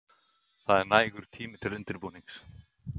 Það er nægur tími til undirbúnings.